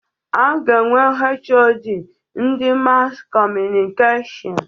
A ga-enwe HoD ndị Maskọmunikashon.